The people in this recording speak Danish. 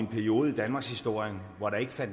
gik ud over